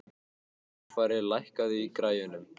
Dagfari, lækkaðu í græjunum.